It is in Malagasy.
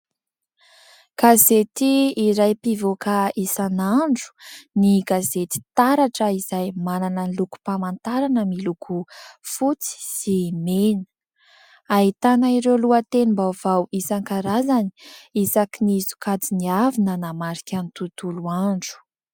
Gazety iray mpivoaka isan'andro ny gazety "Taratra" izay manana ny lokom-pamantarana miloko fotsy sy mena, ahitana ireo lohatenim-baovao isankarazany isaky ny sokajiny avy nanamarika ny tontolo andro.